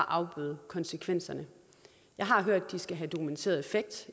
afbøde konsekvenserne jeg har hørt at de skal have en dokumenteret effekt